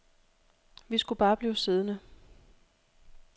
Vi skulle bare blive siddende.